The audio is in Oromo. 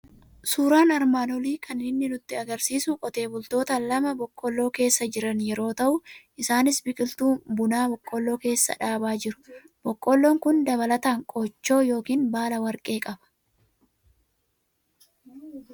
Suuraan armaan olii kan inni nutti argisiisu qotee bultoota lama boqqolloo keessa jiran yeroo ta'u, isaanis biqiltuu bunaa boqoolloo keessa dhaabaa jiru. Boqqolloon kun dabalataan qooccoo yookiin baala warqee qaba.